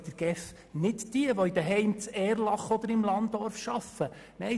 Es gehören auch nicht jene Mitarbeitenden dazu, die in den Heimen in Erlach und anderswo arbeiten.